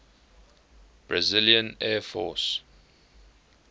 brazilian air force